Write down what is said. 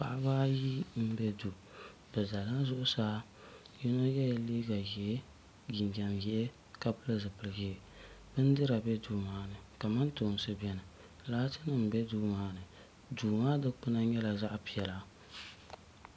Paɣaba ayi m be duu bɛ zala zuɣsaa yino yela liiga ʒee jinjɛm ʒee ka pili zipili ʒee bindira be duu maa ni kamantoosi beni gilaasi nima be duu maani duu maa dukpina nyɛla zaɣa piɛla.